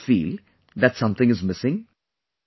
Do you ever feel that something is missing